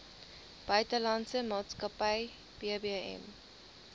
buitelandse maatskappy bbm